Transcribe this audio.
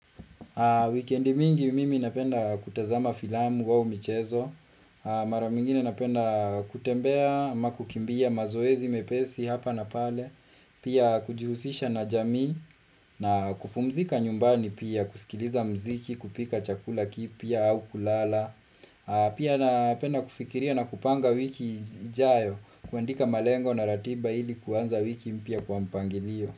Wikendi mingi mimi napenda kutazama filamu wao michezo. Mara mwingine napenda kutembea, ama kukimbia mazoezi mepesi hapa na pale. Pia kujihusisha na jamii na kupumzika nyumbani pia, kusikiliza mziki, kupika chakula kipya au kulala. Pia napenda kufikiria na kupanga wiki ijayo, kuandika malengo na ratiba ili kuanza wiki mpya kwa mpangilio.